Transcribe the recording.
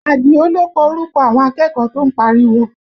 Adio ló kọ orúkọ àwọn akẹ́kọ̀ọ́ tó ń pariwo